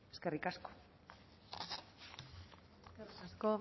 eskerrik asko eskerrik asko